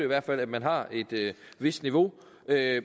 hvert fald at man har et vist niveau